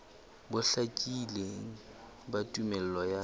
bo hlakileng ba tumello ya